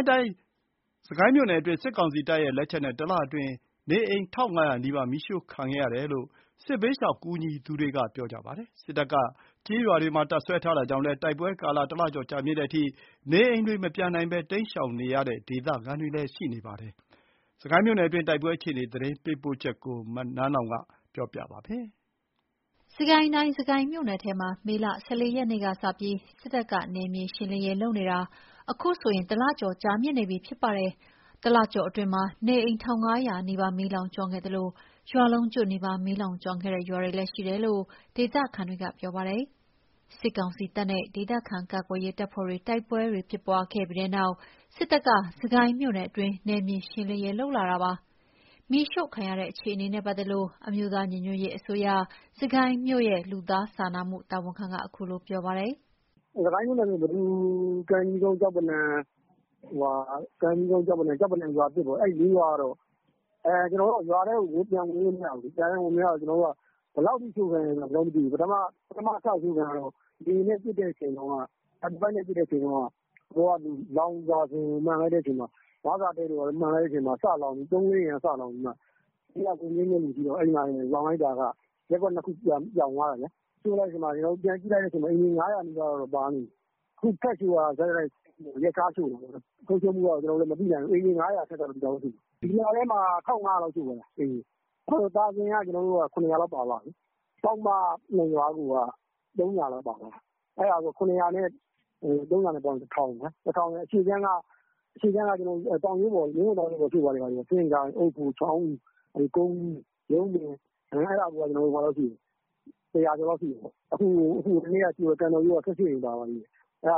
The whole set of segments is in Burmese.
င်းတိုင်း၊ စစ်ကိုင်းမြို့နယ်တွင်း စစ်ကောင်စီတပ်ရဲ့လက်ချက်နဲ့ တလအတွင်း နေအိမ် ၁၅၀၀ နီးပါး မီးရှို့ခံခဲ့ရတယ်လို့ စစ်ဘေးရှောင်ကူညီနေသူတွေကပြောပါတယ်။ စစ်တပ်ကကျေးရွာတွေမှာ တပ်စွဲထားတာ ကြောင့်လည်း တိုက်ပွဲကာလ ၁ လကျော် ကြာမြင့်တဲ့အထိ၊ နေအိမ်တွေ မပြန်နိုင်ဘဲ တိမ်းရှောင်နေရတဲ့ ဒေသခံတွေလည်းရှိနေပါတယ်။ စစ်ကိုင်းမြို့နယ်တွင်း တိုက်ပွဲအခြေအနေသတင်းပေးပို့ချက် နန်းလောင်ဝ်ပြောပြပါမယ်။ စစ်ကိုင်းတိုင်း၊ စစ်ကိုင်းမြို့နယ်ထဲမှာ မေလ ၁၄ ရက်ကစပြီး စစ်တပ်က နယ်မြေရှင်းလင်းရေးလုပ်နေတာ အခုဆိုရင် ၁ လကျော် ကြာမြင့်နေပြီဖြစ်ပါတယ်။ ၁ လကျော်အတွင်းမှာ နေအိမ် ၁၅၀၀ နီးပါး မီးလောင်ကျွမ်းခဲ့သလို၊ ရွာလုံးကျွတ်နီးပါး မီးလောင်ကျွမ်းခဲ့တဲ့ ရွာတွေလည်း ရှိတယ်လို့ ဒေသခံတွေက ပြောပါတယ်။ စစ်ကောင်စီတပ်နဲ့ ဒေသခံကာကွယ်ရေးတပ်ဖွဲ့တို့ တိုက်ပွဲတွေ ဖြစ်ပွားခဲ့ပြီးတဲ့နောက်၊စစ်တပ်ကစစ်ကိုင်း မြို့နယ်အတွင်း နယ်မြေရှင်းလင်းရေး လုပ်လာတာပါ။ မီးရှို့ခံရတဲ့အခြေအနေနဲ့ ပတ်သက်လို့ အမျိုးသားညီညွတ်ရေးအစိုးရ စစ်ကိုင်းမြို့ရဲ့ လူသားစာနာတာဝန်ခံက အခုလို ပြောပါတယ်။ “စစ်ကိုင်းမြို့နယ်အတွင်း ပဒူ၊ ကန်ကြီးကုန်း၊ ကျောက်ပနံရွာသစ်ပေါ့၊ အဲ့ဒါတွေက ရွာထဲကို ပြန်ဝင်လို့မရဘူး။ ပြန်ဝင်မရတော့ ဘယ်လောက်ထိရှို့ခံရတယ်ကျွန်တော်တို့မသိဘူး။ ပထမစရှို့ခံရတုန်းက လေယာဉ်နဲ့ ပစ်တဲ့အချိန်မှာ 35 နဲ့ပစ်တဲ့အချိန် လောင်စာကိုမှန်လိုက်တဲ့အချိန်မှာ နွားစာတဲတွေဘာတွေကို မှန်လိုက်တဲ့အချိန်မှာ ၃၊ ၄ အိမ်ကနေ စလောင်ပြီးတော့မှ အဲ့မှာတင်လောင်လိုက်တာ။ ရပ်ကွက် ၂ ခုပြောင်သွားတယ်။ ပြန်ကြည့်လိုက်ချိန်မှာ အိမ်ခြေ ၅၀၀ နီးပါးတော့ ပါနေပြီ။ အခုထပ်ရှို့တာ ဆက်တိုက် ရက်ခြား ရှို့နေတာပေါ့။ ဆုံးရှုံးမှုကတော့ မသိနိုင်ဘူး။ အိမ်ခြေ ၅၀၀ အထက်လောက်က သေချာပေါက် ရှိတယ်။ ဒီလထဲမှာ ၁၅၀၀ လောက်ရှို့သွားတာ။ သာဇင်က ၇၀၀ လောက်ပါသွားတာ။ ပေါက်မ ၂ ရွာကိုက ၃၀၀ လောက်ပါသွားတာ။ ၇၀၀ နဲ့ ၃၀၀ နဲ့ ပေါင်းရင် ၁ ထောင် အရှေ့ခြမ်းကမင်းဝံတောင်ရိုးပေါ်ရှို့သွားတာ။ စဉ့်ကိုင်၊ အုတ်ဖို၊ ချောင်းဦး၊ ကုန်းဦး၊ ရုန်းပင် အဲ့ဒါကိုက ၁၀၀ ကျော်လောက်ရှိတယ်။ အခုဟိုနေ့က ရှို့သွားတဲ့ ကန်တော်ရိုးက ၁၈ အိမ်နဲ့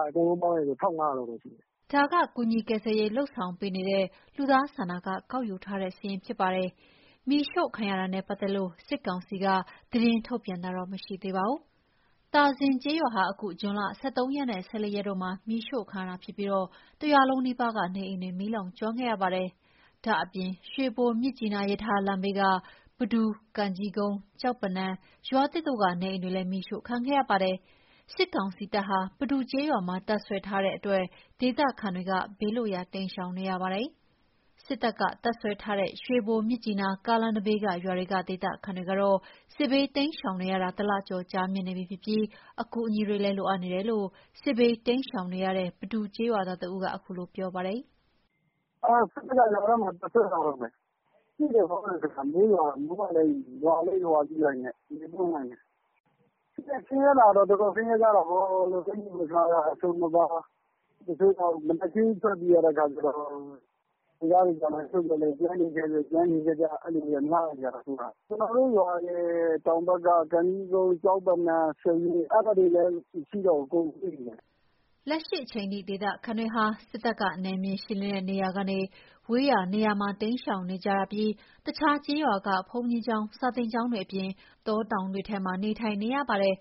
အဲ့ဒါတွေ အကုန်လုံးပေါင်းရင် ၁၅၀၀ လောက်ရှိတယ်။” ဒါက ကူညီကယ်ဆယ်ရေး လုပ်ဆောင်ပေးနေတဲ့ လူသားစာနာက ကောက်ယူထားတဲ့ စာရင်းဖြစ်ပါတယ်။ မီးရှို့ခံရတာနဲ့ ပတ်သက်လို့ စစ်ကောင်စီက သတင်းထုတ်ပြန်တာတော့ မရှိသေးပါဘူး။ သာဇင်ကျေးရွာဟာ အခု ဇွန်လ ၁၃ ရက်နဲ့ ၁၄ ရက်တို့မှာ မီးရှို့ခံရတာဖြစ်ပြီး တရွာလုံးနီးပါးက နေအိမ်တွေ မီးလောင်ကျွမ်းခဲ့ရပါတယ်။ ဒါ့ပြင် ရွှေဘို-မြစ်ကြီးနား ရထားလမ်းဘေးက ပဒူ၊ ကံကြီးကုန်း၊ ကျောက်ပနံ ကျောက်ပနံ ရွာသစ်တို့က နေအိမ်တွေလည်း မီးရှို့ခံခဲ့ရပါတယ်။ စစ်ကောင်စီတပ်ဟာ ပဒူကျေးရွာမှာ တပ်စွဲထားတဲ့ အတွက်ဒေသခံဟာ ဘေးလွတ်ရာ တိမ်းရှောင်နေရပါတယ်။ စစ်တပ်တပ်စွဲထားတဲ့ ရွှေဘို- မြစ်ကြီးနား ကားလမ်းနဘေးက ရွာတွေက ဒေသခံတွေဟာ စစ်ဘေးတိမ်းရှောင် နေရတာ ၁ လ ကျော်ကြာမြင့်နေပြီဖြစ်ပြီး အကူအညီတွေလည်း လိုအပ်နေတယ်လို့ စစ်ဘေးတိမ်းရှောင် နေရတဲ့ ပဒူကျေးရွာသား တဦးကပြောပြပါတယ်။ “စစ်တပ်က ရွာထဲမှာ တပ်စွဲထားတုန်းပဲ၊ မိုးကလည်းရွာကရွာနဲ့ ဆင်းရဲတာကတော့ တော်တော်ဆင်းရဲ ကြတာပေါ့။ အကျီအဝတ်အစားက အစုံမပါ။ မနက်ခင်းကြီးထွက်ပြေးရတဲ့အခါကျတော့ တချို့ကြတော့ ကျန်နေခဲ့ကြ ၊အဲ့လိုတွေကများတဲ့အခါကြတော့ ကျွန်တော်တို့ရွာရဲ့ တောင်ဘက် ကံကြီးကုန်း ကျောက်ပံနံ အဲ့ရွာတွေလည်း မရှိကြတော့ဘူး အကုန်ပြေးကုန်ကြပြီ” လက်ရှိအချိန် ဒေသခံတွေဟာ စစ်တပ် နယ်မြေရှင်းလင်းတဲ့ဝေးရာနေရာတွေမှာ တိမ်းရှောင်နေကြပြီး၊ အခြားကျေးရွာတွေက ဘုန်းကြီးကျောင်း စာသင်ကျောင်းတွေအပြင် တောတောင်တွေထဲမှာ နေထိုင်နေရပါတယ်